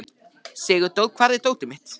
Sigurdór, hvar er dótið mitt?